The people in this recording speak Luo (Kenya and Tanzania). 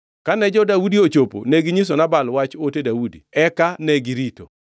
Kane jo-Daudi ochopo neginyiso Nabal wach ote Daudi, eka negirito.